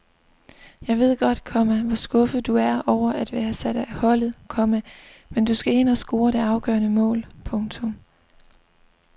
Jeg ved godt, komma hvor skuffet du er over at være sat af holdet, komma men du skal ind og score det afgørende mål. punktum